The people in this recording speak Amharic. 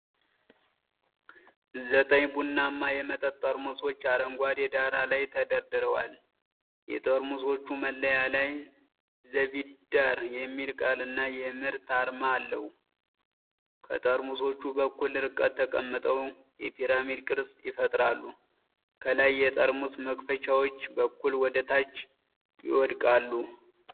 ዘጠኝ ቡናማ የመጠጥ ጠርሙሶች አረንጓዴ ዳራ ላይ ተደርድረዋል። የጠርሙሶቹ መለያ ላይ "ዘቢዳር" የሚል ቃልና የምርት አርማ አለው። ጠርሙሶቹ በእኩል ርቀት ተቀምጠው የፒራሚድ ቅርጽ ይፈጥራሉ። ከላይ የጠርሙስ መክፈቻዎች በከፊል ወደ ታች ይወድቃሉ።